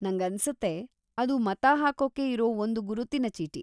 ನಂಗನ್ಸತ್ತೆ, ಅದು ಮತ ಹಾಕೋಕೆ ಇರೋ ಒಂದು ಗುರುತಿನ ಚೀಟಿ.